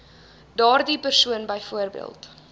daardie persoon byvoorbeeld